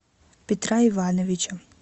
петра ивановича